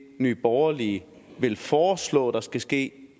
nye borgerlige vil foreslå der skal ske